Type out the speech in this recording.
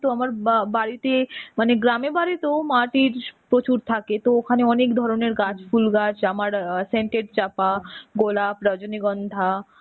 তো আমার বা~ বাড়িতে মানে গ্রামে বাড়িতো মাটির প্রচুর থাকে তো ওখানে অনেক ধরনের গাছ ফুল গাছ আমার scented চাঁপা, গোলাপ, রজনীগন্ধা,